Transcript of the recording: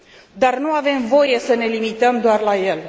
Dar nu avem voie să ne limităm doar la el.